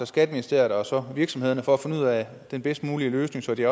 skatteministeriet og så virksomhederne for at finde ud af den bedst mulige løsning så vi